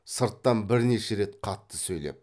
сырттан бірнеше рет қатты сөйлеп